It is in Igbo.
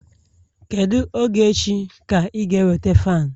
Kedu oge echi ka ị ga-eweta fan